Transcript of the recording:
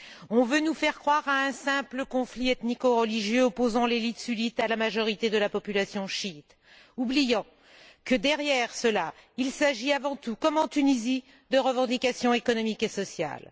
On veut nous faire croire à un simple conflit ethnico religieux opposant l'élite sunnite à la majorité de la population chiite, oubliant que, derrière cela, il s'agit avant tout, comme en Tunisie, de revendications économiques et sociales.